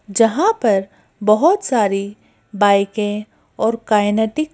जहाँ पर बहुत सारीबाइकें और काइनेटिक --